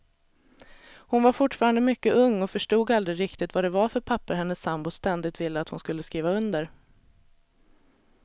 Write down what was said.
Hon var fortfarande mycket ung och förstod aldrig riktigt vad det var för papper hennes sambo ständigt ville att hon skulle skriva under.